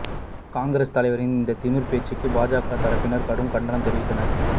காங்கிரஸ் தலைவரின் இந்த திமிர் பேச்சுக்கு பாஜக தரப்பினரும் கடும் கண்டனம் தெரிவித்துள்ளனர்